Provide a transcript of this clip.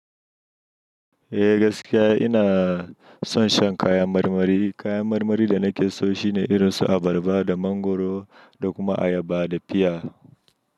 Eh gaskiya ina son shan kayan marmari. Kayan marmari da nake so shine irin su abarba da mangoro da kuma ayaba da piya.